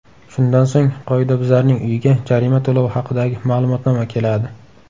Shundan so‘ng, qoidabuzarning uyiga jarima to‘lovi haqidagi ma’lumotnoma keladi.